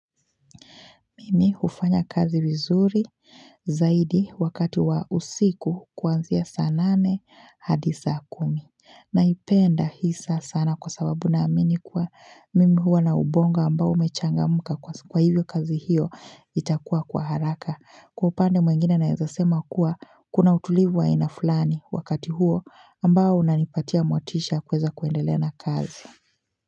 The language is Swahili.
Mimi hufanya kazi vizuri zaidi, wakati wa usiku kuanzia saa nane hadi saa kumi. Naipenda hisa sana kwa sababu naamini kuwa mimi huwa na ubongo ambao umechangamka kwa hivyo kazi hiyo itakuwa kwa haraka. Kwa upande mwingine naweza sema kuwa kuna utulivu wa ina fulani wakati huo ambao unanipatia motisha kuweza kuendelena kazi.